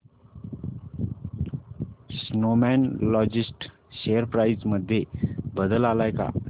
Snowman logistics share price मध्ये बदल आलाय का